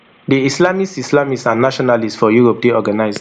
di islamists islamists and nationalists for europe dey organised